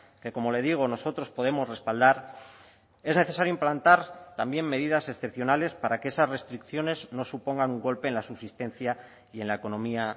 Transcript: que como le digo nosotros podemos respaldar es necesario implantar también medidas excepcionales para que esas restricciones no supongan un golpe en la subsistencia y en la economía